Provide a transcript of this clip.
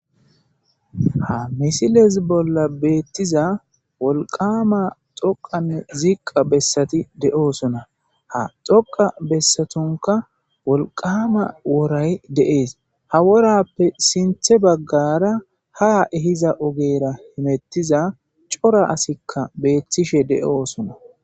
Ha missile bollan betizza wolqqama toqqanne ziqqa besati doosona ha toqqo besatunka wolqqama worayi de'esi ha worappe sinththe baggara ha ehizza oggera hemettiza cora asika bettishe de'ossona.